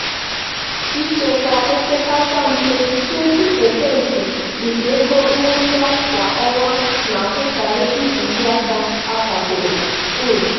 ịchekwa opekata mpe 20% nke ego nnweta kwa ọnwa na-abụkarị ntụzịaka akwadoro. um